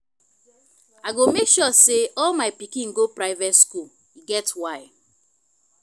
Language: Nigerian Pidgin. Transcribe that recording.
i go make sure say all my pikin go private school e get why